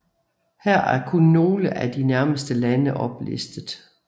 Her er kun nogle af de nærmeste lande oplistet